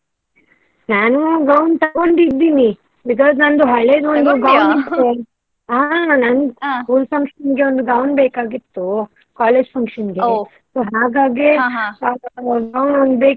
ನಾನು gown ತಗೊಂಡಿದೀನಿ. because ನಂದು ಹಳೆದೊಂದು. ಹಾ ನನ್ school function ಗೆ gown ಬೇಕಾಗಿತ್ತು. college function ಗೆ gown ಬೇಕಾಗಿತ್ತು. gown ಬೇಕಾಗಿತ್ತು.